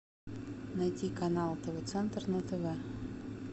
найти канал тв центр на тв